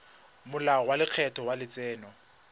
molao wa lekgetho wa letseno